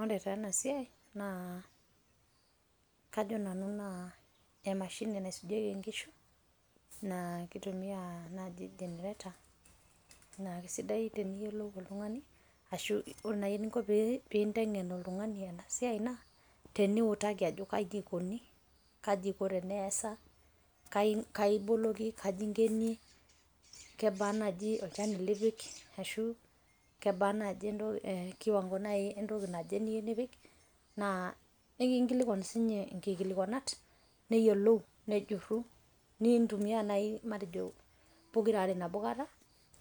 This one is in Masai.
Ore taa enasiai, naa kajo nanu naa emashini enaisujieki nkishu, naa kitumia naaji generator, na kesidai teneyiolou oltung'ani, ashu ore nai eninko pinteng'en oltung'ani enasiai naa, teniutaki ajo kaji ikoni, kaji iko teneesa, kai iboloki, kaji ingenie, kebaa naji olchani lipik, ashu kebaa naji kiwango entoki naje niyieu nipik. Naa ekinkilikwan sinye inkikilikwanat, neyiolou, nejurru, nintumiaa nai matejo pokira nabo kata,